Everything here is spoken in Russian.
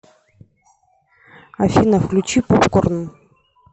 афина включи поп корн